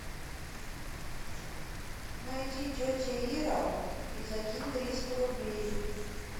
найди тетя ира и закинь триста рублей